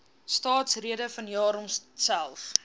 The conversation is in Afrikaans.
staatsrede vanjaar homself